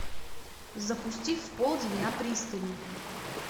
запусти в полдень на пристани